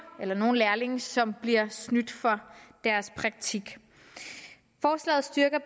eller nogen lærlinge som bliver snydt for deres praktik forslaget styrker